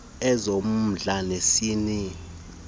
ezommndla nezesini zommndla